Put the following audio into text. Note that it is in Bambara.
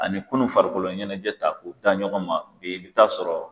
Ani kunu farikoloɲɛnɛjɛ ta k'o da ɲɔgɔn ma ola i bi t'asɔrɔ